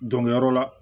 Dɔngiliyɔrɔ la